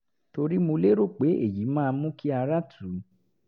torí mo lérò pé èyí máa mú kí ara tù ú